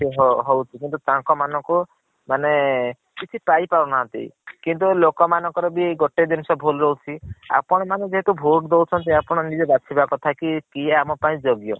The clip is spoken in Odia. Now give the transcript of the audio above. ହଉଛି କିନ୍ତୁ ତାଙ୍କ ମାନଙ୍କୁ ମାନେ କିଛି ପାଇ ପାରୁ ନାହାଁନ୍ତି କିନ୍ତୁ ଲୋକ ମାନଙ୍କ ର ବି ଗୋଟେ ଜିନିଷ ଭୁଲ୍ ରହୁଛି ଆପଣ ମାନେ ଯେହେତୁ vote ଦୌଛନ୍ତି ତ ଆପଣ ନିଜେ ବାଛିବା କଥା କି କିଏ ଆମ ପାଇଁ ଯୋଗ୍ୟ।